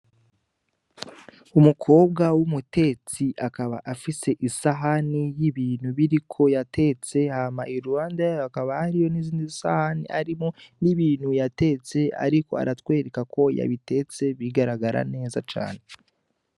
Umukobwa w'umutetsi akaba afise isahani y'ibintu biri ko yatetse hama i luwanda yayo akaba hariyo n'izindi sahani arimo n'ibintu yatetse, ariko aratwereka ko yabitetse bigaragara neza cane.